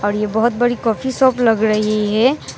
और ये बहुत बड़ी कॉफी शॉप लग रही है।